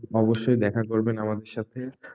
অবশ্যই দেখা করবেন আমাদের সাথে,